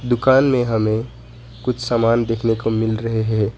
दुकान में हमें कुछ सामान देखने को मिल रहे हैं।